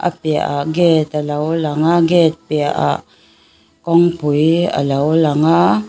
a piah ah gate alo lang a gate piah ah kawngpui a lo lang a.